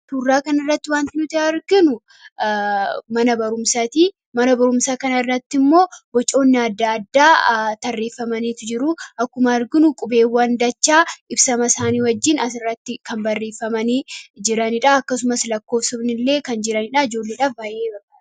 Suuraa kana irratti wanti nuti arginu mana barumsaati. Mana barumsaa kana irratti ammoo bocoonni adda addaa tarreeffamanii jiru. Akkuma arginu qubeewwan dachaa ibsama isaanii wajjin asirratti tarreeffamanii kan argamanidha. Akkasumas lakkoofsonni kan jiranidha. Ijoolleedhaaf baay'ee barbaachisaadha.